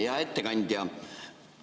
Hea ettekandja!